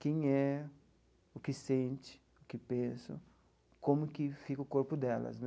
Quem é, o que sente, o que pensa, como que fica o corpo delas, né.